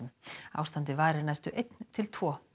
ástandið varir næstu einn til tvo